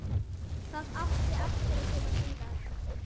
Það átti eftir að koma síðar.